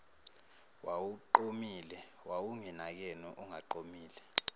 wawuqomile wawunginakeni ungaqomile